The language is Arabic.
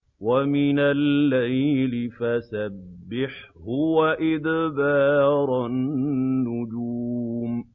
وَمِنَ اللَّيْلِ فَسَبِّحْهُ وَإِدْبَارَ النُّجُومِ